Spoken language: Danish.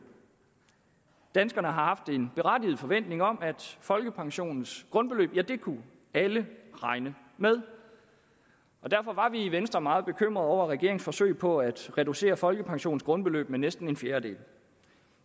danskerne har haft en berettiget forventning om at folkepensionens grundbeløb kunne alle regne med og derfor var vi i venstre meget bekymrede over regeringens forsøg på at reducere folkepensionens grundbeløb med næsten en fjerdedel